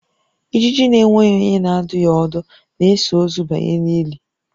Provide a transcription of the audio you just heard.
Ijiji na-enweghị onye na-adụ ya ọdụ na-eso ozu banye n'ili